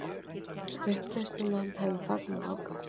Uppreisnarmenn hefðu fagnað ákaft